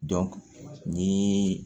ni